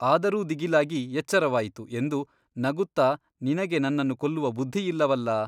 ಆದರೂ ದಿಗಿಲಾಗಿ ಎಚ್ಚರವಾಯಿತು ಎಂದು ನಗುತ್ತಾ ನಿನಗೆ ನನ್ನನ್ನು ಕೊಲ್ಲುವ ಬುದ್ಧಿಯಿಲ್ಲವಲ್ಲಾ ?